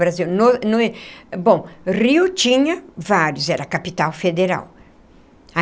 Brasil no no bom, Rio tinha vários, era a capital federal.